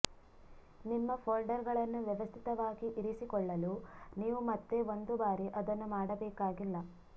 ನಿಮ್ಮ ಫೋಲ್ಡರ್ಗಳನ್ನು ವ್ಯವಸ್ಥಿತವಾಗಿ ಇರಿಸಿಕೊಳ್ಳಲು ನೀವು ಮತ್ತೆ ಒಂದು ಬಾರಿ ಅದನ್ನು ಮಾಡಬೇಕಾಗಿಲ್ಲ